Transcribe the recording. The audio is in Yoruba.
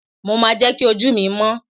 mo ma je ki oju mi mọ́